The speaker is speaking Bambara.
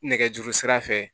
Nɛgɛjuru sira fɛ